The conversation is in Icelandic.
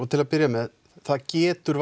til að byrja með það getur